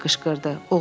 Tobi qışqırdı.